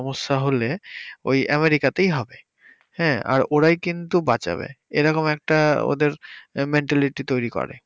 ওই আমেরিকাতেই হবে হ্যাঁ আর ওরাই কিন্তু বাঁচাবে এরকম একটা ওদের মেন্টালিটি তৈরি করে